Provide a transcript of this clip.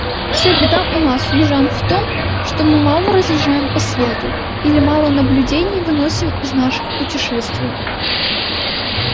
вся беда у нас южан в том что мы мало разъезжаем по свету или мало наблюдений выносим из наших путешествий